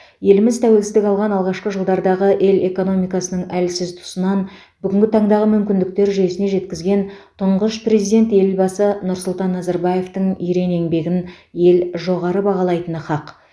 еліміз тәуелсіздік алған алғашқы жылдардағы ел экономикасының әлсіз тұсынан бүгінгі таңдағы мүмкіндіктер жүйесіне жеткізген тұңғыш президент елбасы нұрсұлтан назарбаевтың ерен еңбегін ел жоғары бағалайтыны хақ